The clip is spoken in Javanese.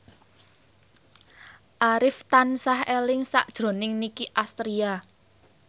Arif tansah eling sakjroning Nicky Astria